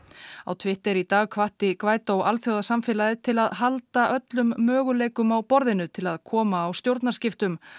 á Twitter í dag hvatti alþjóðasamfélagið til að halda öllum möguleikum á borðinu til að koma á stjórnarskiptum